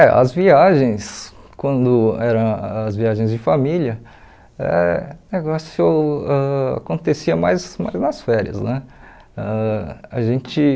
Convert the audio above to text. É, as viagens, quando eram as viagens de família, eh o negócio ãh acontecia mais mais nas férias, né? Ãh a gente